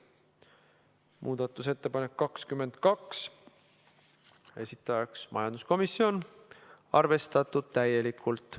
Muudatusettepanek nr 22, esitajaks majanduskomisjon, arvestatud täielikult.